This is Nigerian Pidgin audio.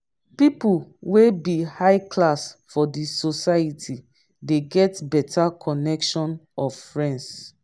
pipo wey be high class for di society de get better connection of friends